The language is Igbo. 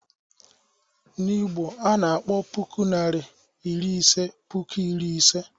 N'Igbo, a na-akpọ puku Naịra iri ise "puku iri ise."